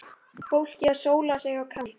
Fólkið að sóla sig á Kanarí.